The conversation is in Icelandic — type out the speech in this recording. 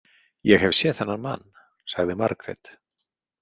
Ég hef séð þennan mann, sagði Margrét.